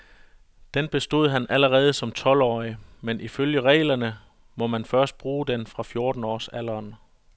Den bestod han allerede som tolvårig, men ifølge reglerne må man først bruge den fra fjortenårsalderen.